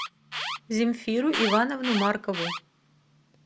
земфиру ивановну маркову